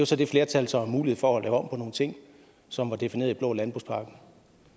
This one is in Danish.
så det flertal som har mulighed for at lave om på nogle ting som var defineret i den blå landbrugspakke